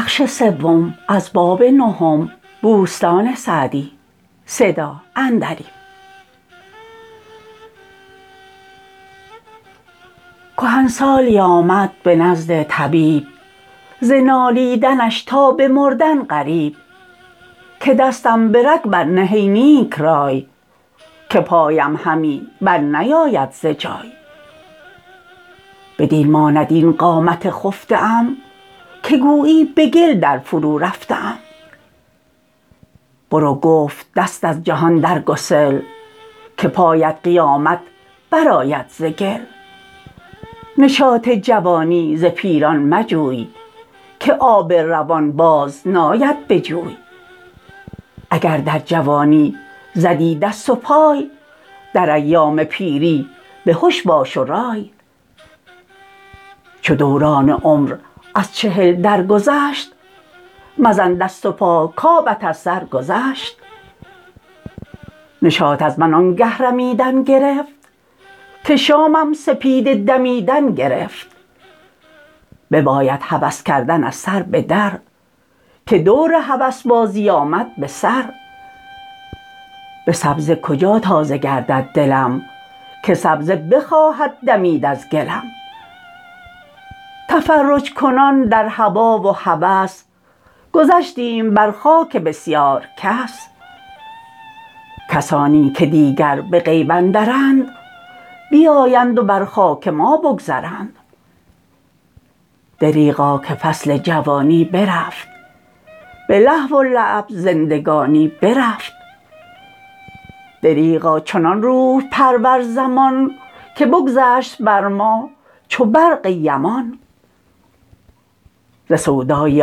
کهنسالی آمد به نزد طبیب ز نالیدنش تا به مردن قریب که دستم به رگ بر نه ای نیک رای که پایم همی بر نیاید ز جای بدین ماند این قامت خفته ام که گویی به گل در فرو رفته ام برو گفت دست از جهان در گسل که پایت قیامت برآید ز گل نشاط جوانی ز پیران مجوی که آب روان باز ناید به جوی اگر در جوانی زدی دست و پای در ایام پیری بهش باش و رای چو دوران عمر از چهل درگذشت مزن دست و پا کآبت از سر گذشت نشاط از من آن گه رمیدن گرفت که شامم سپیده دمیدن گرفت بباید هوس کردن از سر به در که دور هوسبازی آمد به سر به سبزه کجا تازه گردد دلم که سبزه بخواهد دمید از گلم تفرج ‎کنان در هوا و هوس گذشتیم بر خاک بسیار کس کسانی که دیگر به غیب اندرند بیایند و بر خاک ما بگذرند دریغا که فصل جوانی برفت به لهو و لعب زندگانی برفت دریغا چنان روح ‎پرور زمان که بگذشت بر ما چو برق یمان ز سودای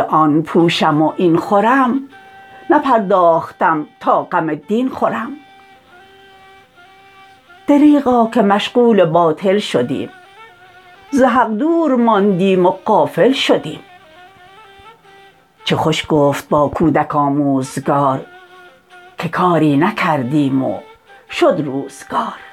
آن پوشم و این خورم نپرداختم تا غم دین خورم دریغا که مشغول باطل شدیم ز حق دور ماندیم و غافل شدیم چه خوش گفت با کودک آموزگار که کاری نکردیم و شد روزگار